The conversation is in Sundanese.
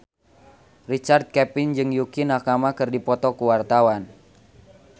Richard Kevin jeung Yukie Nakama keur dipoto ku wartawan